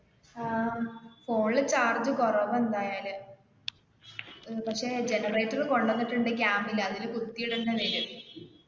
ആ phone ല് charge കുറവാ എന്തായാലും അഹ് പക്ഷെ generator കൊടുവന്നിട്ടുണ്ട് camp ല് അതില് കുത്തി ഇടേണ്ടി വരും.